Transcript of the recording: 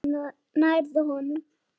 Nærðu honum?